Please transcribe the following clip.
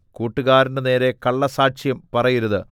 കൂട്ടുകാരന്റെ നേരെ കള്ളസാക്ഷ്യം പറയരുത്